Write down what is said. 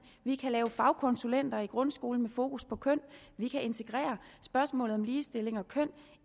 vi kan have fagkonsulenter i grundskolen med fokus på køn vi kan integrere spørgsmålet om ligestilling og køn